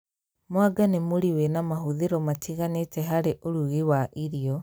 Mwanga ni mũri wina mahuthira matiganite hai urugi wa irio